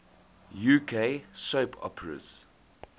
uk soap operas